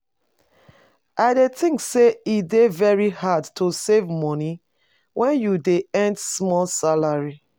I dey think say e dey very hard to save money when you dey earn small salary.